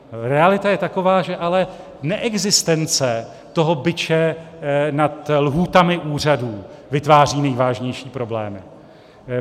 Realita je taková, že ale neexistence toho biče nad lhůtami úřadů vytváří nejvážnější problémy.